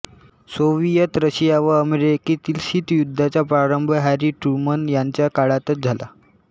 Soviet Russia व अमेरिकेतील शीतयुद्धाचा प्रारंभ हॅरी ट्रुमन यांच्या काळातच झाला